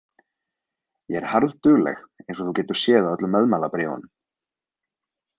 Ég er harðdugleg eins og þú getur séð á öllum meðmælabréfunum.